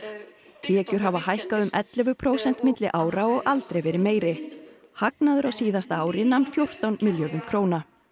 tekjur hafa hækkað um ellefu prósent milli ára og aldrei verið meiri hagnaður á síðasta ári nam fjórtán milljörðum króna